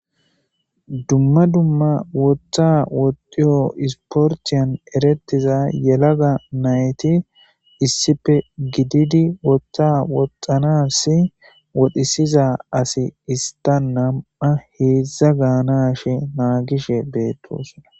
dumma dumma woththa woxiyo isporthiyan eretiza yelaga nayti issife gididi woththa woxxanas wodhisiza asi ista nam7a heedzdza gaanashe naagishe beettosona